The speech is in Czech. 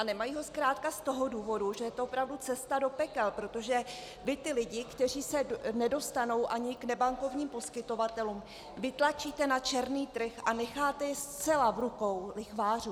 A nemají ho zkrátka z toho důvodu, že je to opravdu cesta do pekel, protože vy ty lidi, kteří se nedostanou ani k nebankovním poskytovatelům, vytlačíte na černý trh a necháte je zcela v rukou lichvářů.